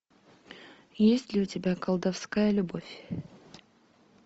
есть ли у тебя колдовская любовь